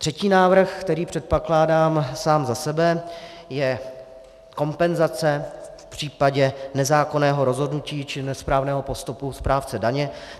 Třetí návrh, který předkládám sám za sebe, je kompenzace v případě nezákonného rozhodnutí či nesprávného postupu správce daně.